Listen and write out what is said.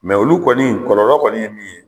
olu kɔni kɔlɔlɔ kɔni ye min ye